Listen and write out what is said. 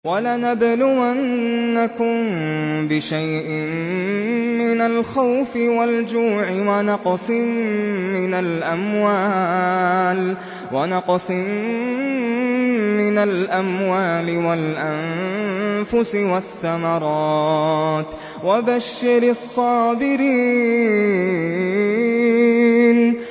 وَلَنَبْلُوَنَّكُم بِشَيْءٍ مِّنَ الْخَوْفِ وَالْجُوعِ وَنَقْصٍ مِّنَ الْأَمْوَالِ وَالْأَنفُسِ وَالثَّمَرَاتِ ۗ وَبَشِّرِ الصَّابِرِينَ